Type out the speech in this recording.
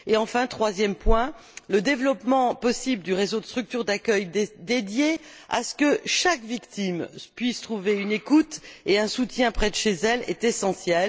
Enfin, troisième point, le développement possible du réseau de structures d'accueil, afin que chaque victime puisse trouver une écoute et un soutien près de chez elle, est essentiel.